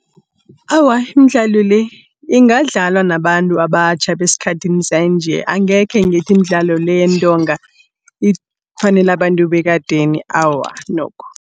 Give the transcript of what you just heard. Awa iimdlalo le, ingadlalwa nabantu abatjha beskhathini sanje. Angekhe ngithi imidlalo le yeentonga ifanele abantu bekadeni, awa nokho.